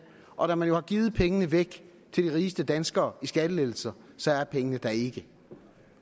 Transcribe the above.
og da man jo har givet pengene væk til de rigeste danskere i skattelettelser så er pengene der ikke